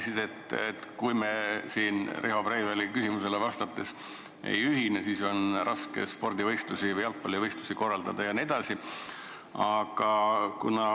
Sa ütlesid Riho Breiveli küsimusele vastates, et kui me ei ühine, siis on raske spordivõistlusi korraldada.